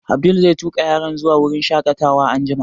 Abdul zai tuƙa yaran zuwa wurin shaƙatawa anjima